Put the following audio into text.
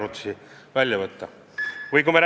Lisaaega palun!